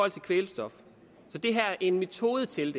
til kvælstof og det her er jo en metode til